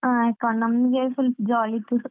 ಹಾ account ನಮ್ಗೆ full jolly ಇತ್ತು.